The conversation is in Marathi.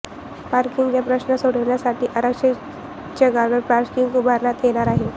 पार्किंगचा प्रश्न सोडविण्यासाठी आरक्षित जागांवर पार्किंग उभारण्यात येणार आहे